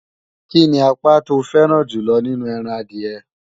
Kíni apá to fẹ́ràn jùlọ nínú ẹran adìẹ?